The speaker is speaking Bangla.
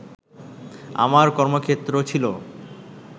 আমার কর্মক্ষেত্র ছিল